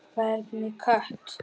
Hvernig kött?